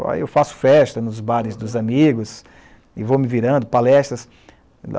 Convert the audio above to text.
Aí eu faço festa nos bares dos amigos e vou me virando, palestras.